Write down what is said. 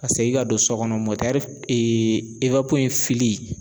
Ka segin ka don sɔ kɔnɔ mɔtɛri ee ewapo in file